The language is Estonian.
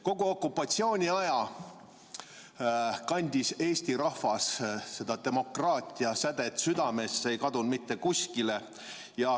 Kogu okupatsiooniaja kandis eesti rahvas seda demokraatiasädet südames, see ei kadunud mitte kuskile.